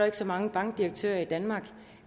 ikke så mange bankdirektører i danmark